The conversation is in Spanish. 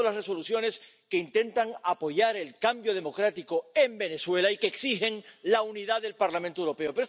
He votado las Resoluciones que intentan apoyar el cambio democrático en Venezuela y que exigen la unidad del Parlamento Europeo.